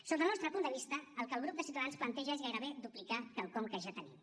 sota el nostre punt de vista el que el grup de ciutadans planteja és gairebé duplicar quelcom que ja tenim